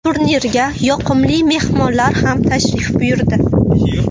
Turnirga yoqimli mehmonlar ham tashrif buyurdi.